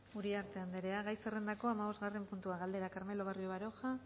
uriarte anderea gai zerrendako hamabosgarren puntua galdera carmelo barrio baroja